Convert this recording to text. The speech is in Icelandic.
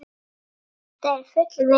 Þetta er full vinna.